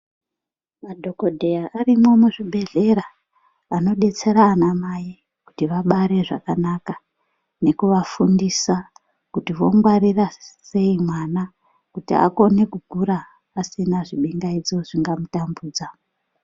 Madhogodheya arimwo muzvibhedhlera anodetsera anamai kuti vabare zvakanaka nekuvafundisa kuti vongwarira sei mwana kuti akone kukura asina zvibingaidzo zvingamutambudza.